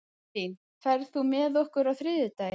Evelyn, ferð þú með okkur á þriðjudaginn?